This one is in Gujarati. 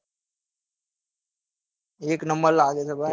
number લાગે છે ભઈ